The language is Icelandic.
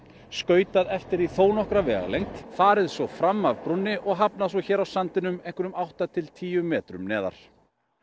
skautað eftir því þó nokkra vegalengd farið svo fram af brúnni og hafnað svo hér á sandinum einhverjum átta til tíu metrum neðar